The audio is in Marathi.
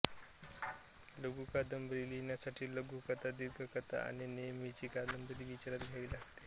लघुकादंबरी लिहिण्यासाठी लघुकथा दीर्घकथा आणि नेहमीची कादंबरी विचारात घ्यावी लागते